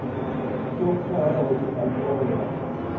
yo khwahaho i a oea